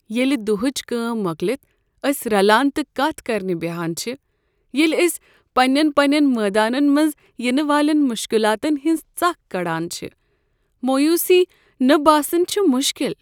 ییٚلہ دۄہٕچ کٲم مۄکلتھ أسۍ رلان تہٕ کتھ کرنہ بہان چھ، ییٚلہ أسۍ پنٛنٮ۪ن پنٛنٮ۪ن مٲدانن منٛز ینہٕ والٮ۪ن مشکلاتن ہنز ژكھ كڈان چھِ، مویوٗسی نہٕ باسٕنۍ چھُ مُشكِل۔